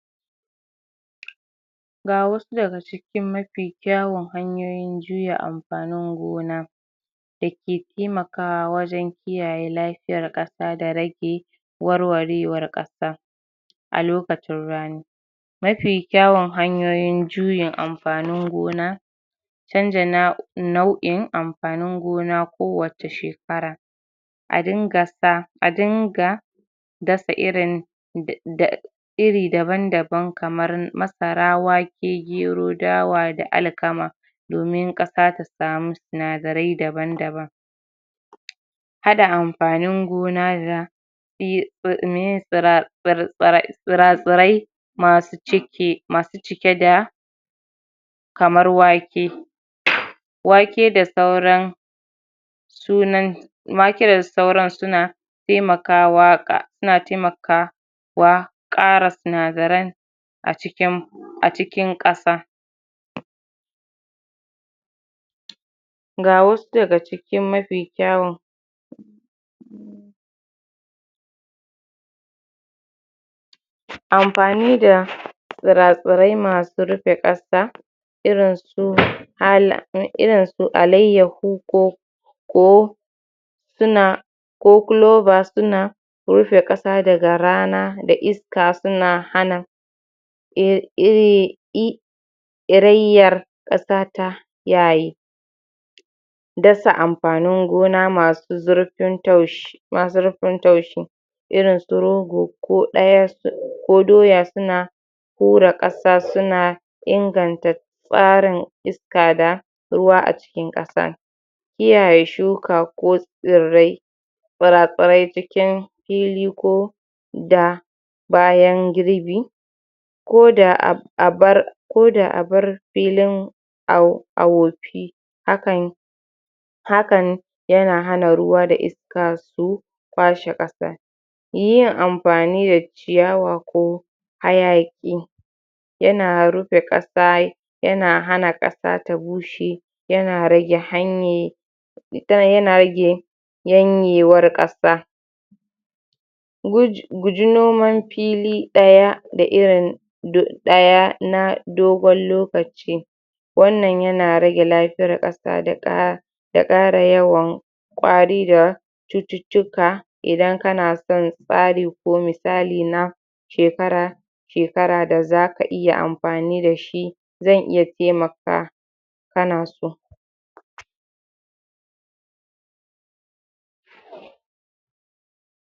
Ga wasu daga cikin mafi kyawun hanyoyin juya amfanin gona dake taimakawa wajen kiyaye lafiyar ƙasa da rage warwarewar ƙasa a lokacin rani. Mafi kyawun hanyoyin juyin amfanin gona canja nau'in amfanin gona ko wace shekara a dinga sa a dinga dasa irin da da iri daban-daban kamar masara wake gero dawa da alkama domin ƙasa ta samu sinadarai daban-daban haɗa amfanin gona da iye meye tsra tsira tsirai masu cike masu cike da kamar wake wake da sauran sunan wake da sauran suna taimakawa ƙa suna taimaka wa ƙara sinadaran a cikin a cikin ƙasa. ga wasu daga cikin mafi kyawun amfani da tsira-tsirai masu rufe ƙasa irin su irin su alaiyahu ko ko suna ko kuloba suna rufe ƙasa daga rana da iska suna hana ir ire ir iraiyyar ƙasa ta yaye dasa amfanin gona masu zurfin taushi masu zurfin taushi irin su rogo ko ɗaya ko doya suna hura ƙasa suna inganta tsarin iska da ruwa a cikin ƙasa. kiyaye shuka ko tsirrai tsira-tsirai cikin fili ko da bayan girbi koda abar koda abar filin a wofi hakan hakan yana hana ruwa da iska su kwashe ƙasan yin amfani da ciyawa ko hayaƙi yana rufe ƙasa yana hana ƙasa ta bushe yana rage hanye yana rage yanyewar ƙasa. gu guji noman fili ɗaya da irin ɗaya na dogon lokaci wannan yana rage lafiyar ƙasa da ƙa da ƙara yawan ƙwari da cututtuka idan kana son tsari ko misali na shekara shekara da zaka iya amfani dashi zan iya taimaka kanaso.